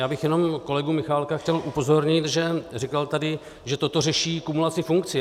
Já bych jenom kolegu Michálka chtěl upozornit, že říkal tady, že toto řeší kumulaci funkcí.